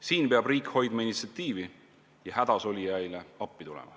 Siin peab riik hoidma initsiatiivi ja hädasolijaile appi tulema.